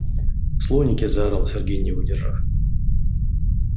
слоники заорал сергей не выдержав